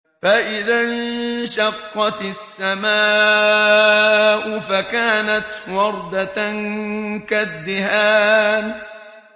فَإِذَا انشَقَّتِ السَّمَاءُ فَكَانَتْ وَرْدَةً كَالدِّهَانِ